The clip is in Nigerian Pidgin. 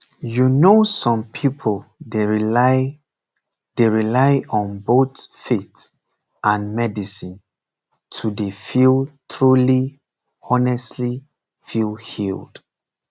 you know some pipu dey rely dey rely on both faith and medicine to dey feel truly honestly feel healed